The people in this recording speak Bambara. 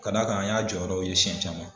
Ka d'a kan an y'a jɔyɔrɔw ye siyɛn caman.